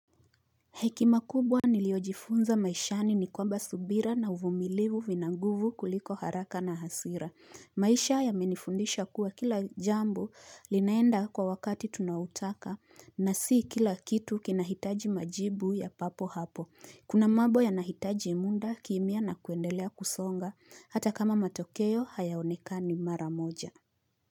Hekima kubwa niliojifunza maishani ni kwamba subira na uvumilivu vina nguvu kuliko haraka na hasira. Maisha yamenifundisha kuwa kila jambo linaenda kwa wakati tunautaka na si kila kitu kinahitaji majibu ya papo hapo. Kuna mambo ya nahitaji muda kimia na kuendelea kusonga hata kama matokeo hayaonekani mara moja.